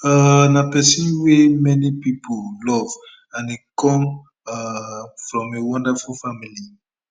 um na pesin wey many many pipo love and e come um from a wonderful family